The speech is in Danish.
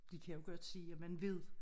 De kan jo godt se at man ved